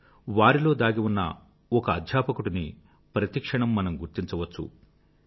కానీ వారిలో దాగి ఉన్న ఒక అధ్యాపకుడిని ప్రతి క్షణం మనం గుర్తించవచ్చు